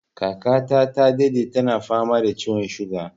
Kaka ta ta daɗe tana fama da ciwon suga